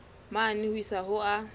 mane ho isa ho a